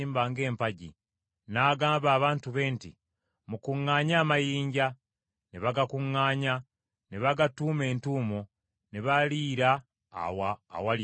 N’agamba abantu be nti, “Mukuŋŋaanye amayinja.” Ne bagakuŋŋaanya ne bagatuuma entuumo, ne baliira awo awali entuumo.